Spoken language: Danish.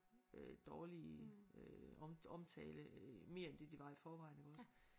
Øh dårlig øh om omtale mere end det det var i forvejen iggås